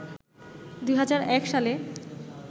২০০১ সালে